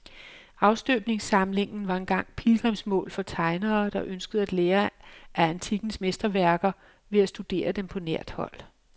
Afstøbningssamlingen var engang pilgrimsmål for tegnere, der ønskede at lære af antikkens mesterværker ved at studere dem på nært hold.